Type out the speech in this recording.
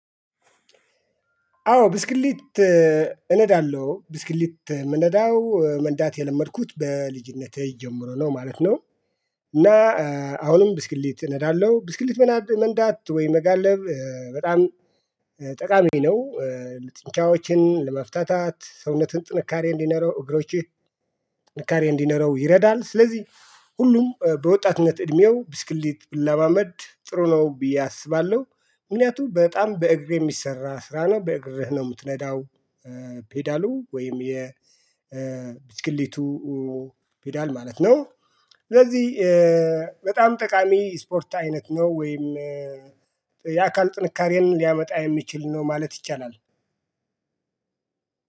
አዎ ብስክሌት እነዳለሁ ብስክሌት የምነዳው መንዳት የለመድኩት በልጅነቴ ጀምሮ ነው ማለት ነው። እና አሁንም ብስክሌት እነዳለሁ ብስክሌት መንዳት ወይ መጋለብ በጣም ጠቃሚ ነው። ለጥንቻዎችን ለመፍታታት ሰውነትን ጥንካሬ እንዲኖረው እግሮችህ ጥንካሬ እንዲኖረው ይረዳል። ስለዚህ ሁሉም በወጣትነት እድሜው ብስክሌት ቢለማመድ ጥሩ ነው ብዬ አስባለሁ። ምክንያቱም በጣም በእግር የሚሰራ ስራ ነው በእግርህ ነው የምትነዳው ፔዳሉ ወይም የብስክሌቱ ፔዳል ማለት ነው። ስለዚህ በጣም ጠቃሚ ስፖርት አይነት ነው። ወይም የአካል ጥንካሬን ሊያመጣ የሚችል ነው ማለት ይቻላል።